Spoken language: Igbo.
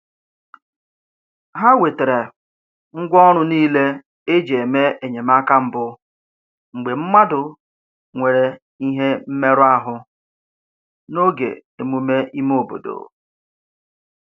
Ha wetere ngwa ọrụ niile e ji eme enyemaka mbụ mgbe mmadụ nwere ihe mmerụ ahụ n'oge emume ime obodo